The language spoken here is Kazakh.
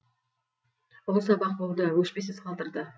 ұлы сабақ болды өшпес із қалдырды